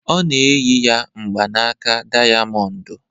Ọ na-eyi ya mgbanaka dayamondu